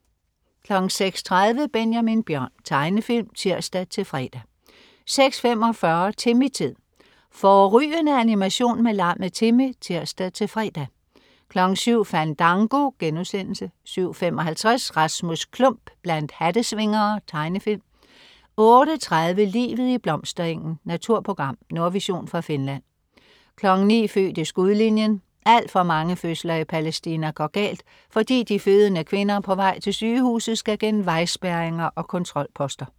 06.30 Benjamin Bjørn. Tegnefilm (tirs-fre) 06.45 Timmy-tid. Fårrygende animation med lammet Timmy (tirs-fre) 07.00 Fandango* 07.55 Rasmus Klump blandt hattesvingere. Tegnefilm 08.30 Livet i blomsterengen. Naturprogram. Nordvision fra Finland 09.00 Født i skudlinjen. Alt for mange fødsler i Palæstina går galt, fordi de fødende kvinder på vej til sygehuset skal gennem vejspærringer og kontrolposter